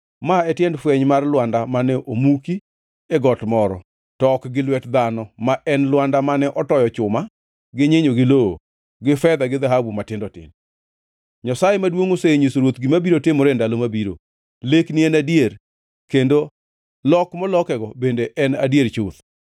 Ma e tiend fweny mar lwanda mane omuki e got moro, to ok gi lwet dhano ma en lwanda mane otoyo chuma gi nyinyo gi lowo, gi fedha gi dhahabu matindo tindo. Nyasaye maduongʼ osenyiso ruoth gima biro timore e ndalo mabiro. Lekni en adier, kendo lok molokego bende en adier chuth.